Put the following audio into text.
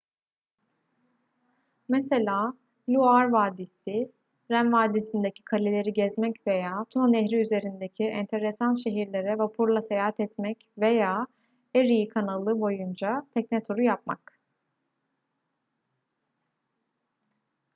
mesela loire vadisi ren vadisi'ndeki kaleleri gezmek veya tuna nehri üzerindeki enteresan şehirlere vapurla seyahat etmek veya erie kanalı boyunca tekne turu yapmak